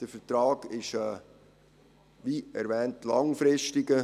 Der Vertrag ist, wie erwähnt, langfristig.